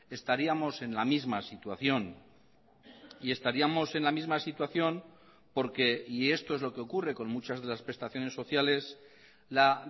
estaríamos en la misma situación y estaríamos en la misma situación porque y esto es lo que ocurre con muchas de las prestaciones sociales la